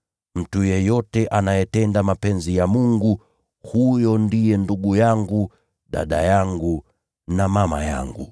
Mtu yeyote anayetenda mapenzi ya Mungu, huyo ndiye ndugu yangu, na dada yangu na mama yangu.”